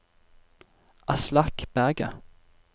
Aslak Berget